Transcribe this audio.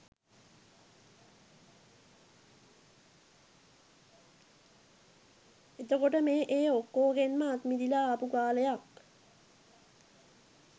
එතකොට මේ ඒ ඔක්කෝගෙන්ම අත්මිදිලා ආපු කාලයක්